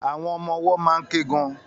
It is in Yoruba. Àwọn ọmọ-ọwọ́ máa ń ké gan-an